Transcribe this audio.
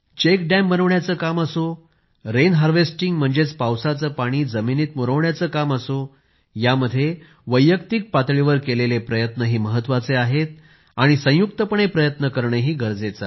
check dam बनविण्याचं काम असो रेन हारवेस्टिंग म्हणजेच पावसाचं पाणी जमिनी मुरवून पावसाच्या पाण्याची शेती करायचं काम असो यामध्ये वैयक्तिक पातळीवर केलेले प्रयत्नही महत्वाचे आहेत आणि संयुक्तपणे प्रयत्न करणेही गरजे आहे